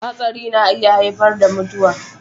Hatsari na iya haifar da mutuwa.